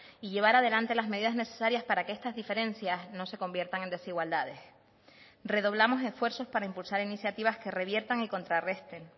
y llevar adelante las medidas necesarias para que estas diferencias no se conviertan en desigualdades redoblamos esfuerzos para impulsar iniciativas que reviertan y contrarresten